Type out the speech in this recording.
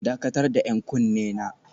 Dakatar da 'yan kunne na